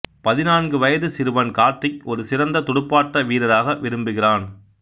பதினான்கு வயது சிறுவன் கார்த்திக் ஒரு சிறந்த துடுப்பாட்ட வீரராக விரும்புகிறான்